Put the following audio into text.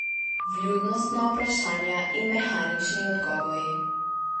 Vljudnostna vprašanja in mehanični odgovori.